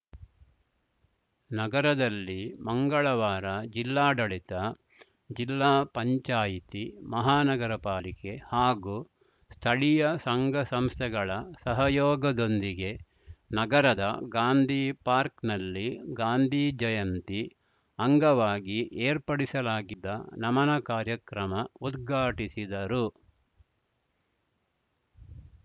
ನಗರದಲ್ಲಿ ಮಂಗಳವಾರ ಜಿಲ್ಲಾಡಳಿತ ಜಿಲ್ಲಾ ಪಂಚಾಯಿತಿ ಮಹಾನಗರ ಪಾಲಿಕೆ ಹಾಗೂ ಸ್ಥಳೀಯ ಸಂಘಸಂಸ್ಥೆಗಳ ಸಹಯೋಗದೊಂದಿಗೆ ನಗರದ ಗಾಂಧಿ ಪಾರ್ಕ್ನಲ್ಲಿ ಗಾಂಧಿ ಜಯಂತಿ ಅಂಗವಾಗಿ ಏರ್ಪಡಿಸಲಾಗಿದ್ದ ನಮನ ಕಾರ್ಯಕ್ರಮ ಉದ್ಘಾಟಿಸಿದರು